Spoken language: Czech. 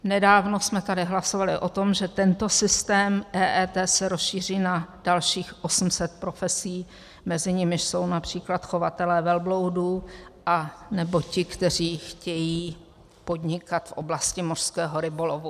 Nedávno jsme tady hlasovali o tom, že tento systém EET se rozšíří na dalších 800 profesí, mezi nimiž jsou například chovatelé velbloudů anebo ti, kteří chtějí podnikat v oblasti mořského rybolovu.